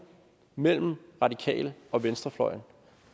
mellem radikale og venstrefløjen